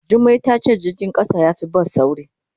Jummai ta ce jirgin kasa ya fi bas sauri.